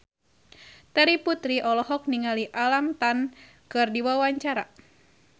Terry Putri olohok ningali Alam Tam keur diwawancara